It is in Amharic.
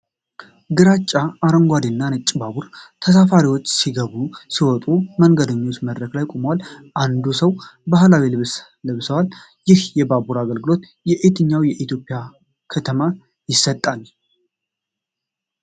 ግራጫ፣ አረንጓዴና ነጭ ባቡር ተሳፋሪዎች ሲገቡና ሲወጡ የመንገደኞች መድረክ ላይ ቆሟል። አንዳንድ ሰዎች ባህላዊ ልብስ ለብሰዋል። ይህ የባቡር አገልግሎት በየትኛው የኢትዮጵያ ከተማ ይሰጣል?